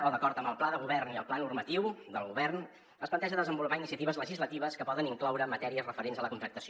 o d’acord amb el pla de govern i el pla normatiu del govern es planteja desenvolupar iniciatives legislatives que poden incloure matèries referents a la contractació